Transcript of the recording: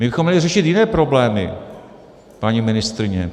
My bychom měli řešit jiné problémy, paní ministryně.